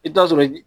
I bi t'a sɔrɔ